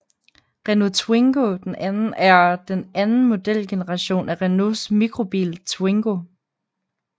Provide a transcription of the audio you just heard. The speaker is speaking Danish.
Renault Twingo II er den anden modelgeneration af Renaults mikrobil Twingo